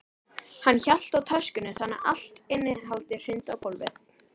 Stefán setti upp svikalausan undrunarsvip og óskaði frekari útlistunar.